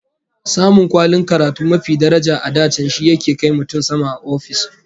Samun kwalin karatu mafi daraja a da can shi yake kai mutum sama a ofis